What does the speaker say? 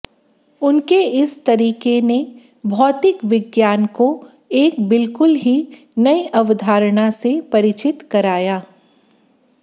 उनके इस तरीके ने भौतिक विज्ञान को एक बिलकुल ही नई अवधारणा से परिचित कराया